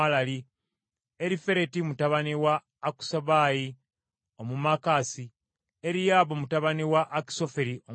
Erifereti mutabani wa Akasubayi Omumaakasi, Eriyaamu mutabani wa Akisoferi Omugiro,